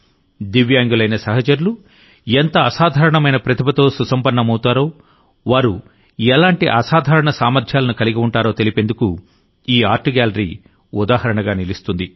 దివ్యాంగులైన సహచరులు ఎంత అసాధారణమైన ప్రతిభతో సుసంపన్నమవుతారో వారు ఎలాంటి అసాధారణ సామర్థ్యాలను కలిగి ఉంటారో తెలిపేందుకు ఈ ఆర్ట్ గ్యాలరీ ఉదాహరణగా నిలుస్తుంది